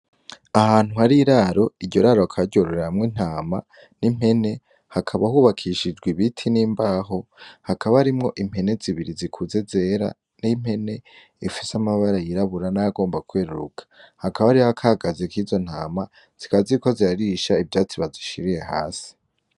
Ahantu hari iraro iryo raro akaryororamwo intama n'impene hakaba hubakishijwa ibiti n'imbaho hakaba arimwo impene zibiri zikuze zera n'impene ifise amabara yirabura n'ayagomba kweruruka hakaba ari hakagaze k'izo ntama zikaziyko zirarisha ivyatsi bazishiriye hasi.